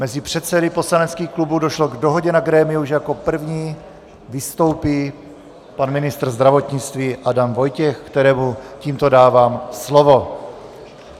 Mezi předsedy poslaneckých klubů došlo k dohodě na grémiu, že jako první vystoupí pan ministr zdravotnictví Adam Vojtěch, kterému tímto dávám slovo.